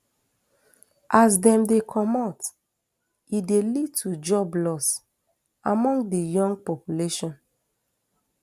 as dem dey comot e dey lead to job loss among di young population